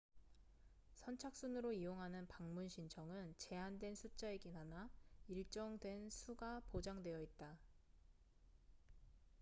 선착순으로 이용하는 방문 신청은 제한된 숫자이긴 하나 일정 된 수가 보장되어 있다